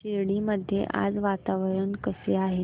शिर्डी मध्ये आज वातावरण कसे आहे